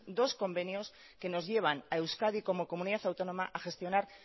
dos convenios que nos llevan a euskadi como comunidad autónoma a gestionar